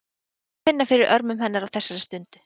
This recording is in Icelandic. Það er gott að finna fyrir örmum hennar á þessari stundu.